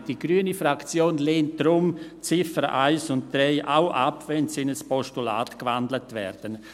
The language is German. Nein, die grüne Fraktion lehnt deshalb die Ziffern 1–3 auch ab, wenn sie in ein Postulat gewandelt werden.